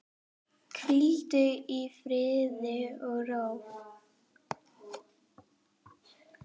Hvíldu í friði og ró.